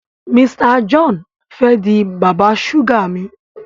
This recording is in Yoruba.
Mr John fè dì bàbá suga mí.